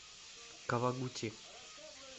кавагути